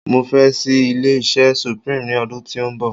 mo fẹ ṣi ilé iṣẹ supreme ni odun ti o nbọ